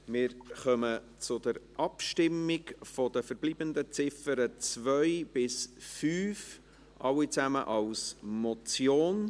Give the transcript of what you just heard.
Wir kommen zur Abstimmung zu den verbleibenden Ziffern 2 bis 5, alle als Motion.